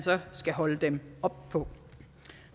skal holde dem op på